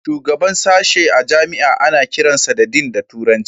Shugaban sashen jami'a ana kiransa da Dean da turanci